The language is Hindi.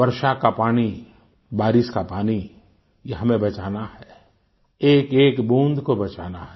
वर्षा का पानी बारिश का पानी ये हमें बचाना है एकएक बूंद को बचाना है